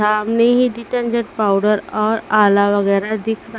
सामने ही detergent powder और आला वगैरह दिख--